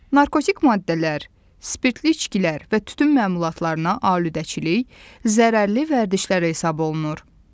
Narkotik maddələr, spirtli içkilər və tütün məmulatlarına alüdəçilik zərərli vərdişlər hesab olunur.